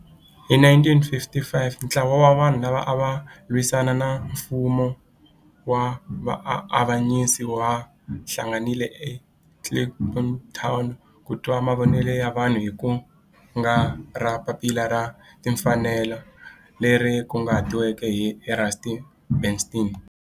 Hi 1955 ntlawa wa vanhu lava ava lwisana na nfumo wa avanyiso va hlanganile eKliptown ku twa mavonelo ya vanhu hi kungu ra Papila ra Tinfanelo, Freedom Charter leri kunguhatiweke hi Rusty Bernstein.